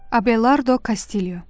Abelardo Kastilyo.